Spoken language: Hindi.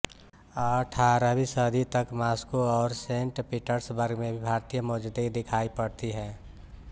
अट्ठारहवीं सदी तक मास्को और सेंट पीटर्सबर्ग में भी भारतीय मौजूदगी दिखाई पड़ती है